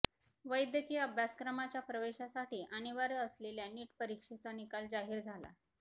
वैद्यकीय अभ्यासक्रमाच्या प्रवेशासाठी अनिवार्य असलेल्या नीट परीक्षेचा निकाल जाहीर झाला